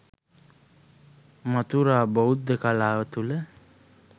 මථුරා බෞද්ධ කලාව තුළ